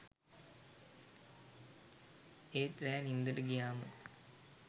ඒත් රෑ නින්දට ගියාම